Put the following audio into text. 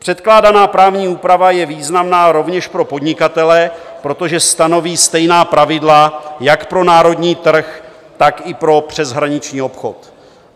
Předpokládaná právní úprava je významná rovněž pro podnikatele, protože stanoví stejná pravidla jak pro národní trh, tak i pro přeshraniční obchod.